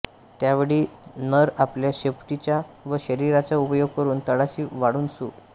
त्यावेळी नर आपल्या शेपटीचा व शरीराचा उपयोग करुन तळाशी वाळूत सु